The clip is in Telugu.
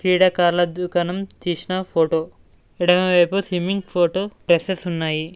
ఈడ కళ్ళ దుకాణం తీసిన ఫోటో ఎడమ వైపు సిమ్మింగ్ ఫొటో గ్లస్సెస్ ఉన్నాయి.